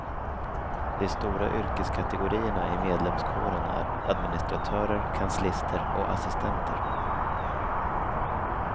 De stora yrkeskategorierna i medlemskåren är administratörer, kanslister och assistenter.